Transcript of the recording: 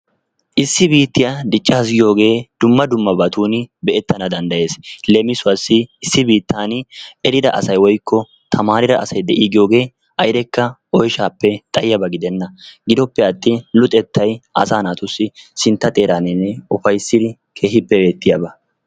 Issi biittiyaa diccaasu giyooge dumma dummabatun be'ettana fanddayees. Leemissuwassi issi biittan eridda asay woykko tamarida asay de'i giyoogee ayddekka oyshshappe xaayyiyaaba gidena giddoppe atin luxettay asa naatussi sintta xeeraninne ufayssidi keehippe beertiyaaba.